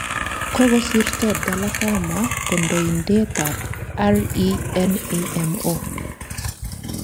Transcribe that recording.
Kokosirto Dhlakama kandoindet ab RENAMO